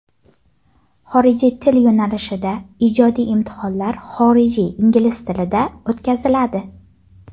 Xorijiy til yo‘nalishida ijodiy imtihonlar xorijiy (ingliz) tilda o‘tkaziladi.